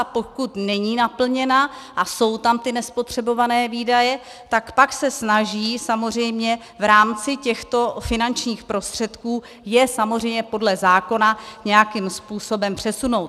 A pokud není naplněna a jsou tam ty nespotřebované výdaje, tak se pak snaží, samozřejmě v rámci těchto finančních prostředků, je samozřejmě podle zákona nějakým způsobem přesunout.